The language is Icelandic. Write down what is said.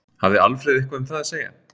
Hafði Alfreð eitthvað um það að segja?